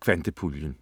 Kvantepatruljen